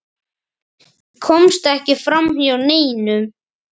Ég komst ekki framhjá neinum.